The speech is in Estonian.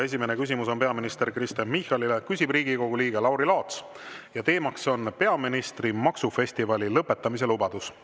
Esimene küsimus on peaminister Kristen Michalile, küsib Riigikogu liige Lauri Laats ja teema on peaministri maksufestivali lõpetamise lubadus.